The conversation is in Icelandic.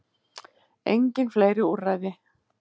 Engin fleiri úrræði